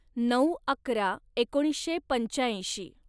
नऊ अकरा एकोणीसशे पंचाऐंशी